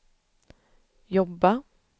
jobba